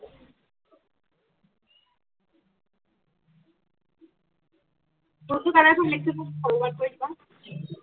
টোৰ টো color মোক